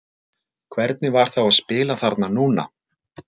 Hvernig var þá að spila þarna núna?